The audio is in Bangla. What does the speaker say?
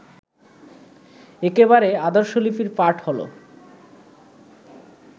একেবারে আদর্শলিপির পাঠ হলো